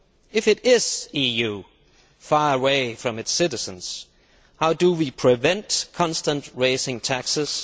If it is the EU, far away from its citizens, how do we prevent constant rising taxes?